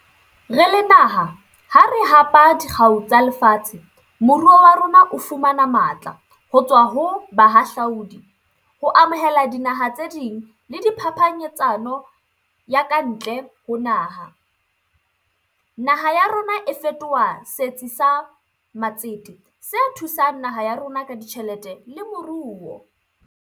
Re le naha ha re hapa dikgau tsa lefatshe, moruo wa rona o fumana matla ho tswa ho bahahlaudi, ho amohela dinaha tse ding le diphaphanyetsano ya ka ntle ho naha. Naha a rona e fetoha setsi sa matsete, se thusang naha ya rona ka ditjhelete le moruo.